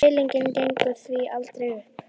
Deilingin gengur því aldrei upp.